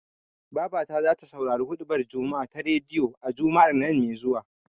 Babata zata saurari huɗubar juma'a ta rediyo, a Juma'ar nan me zuwa.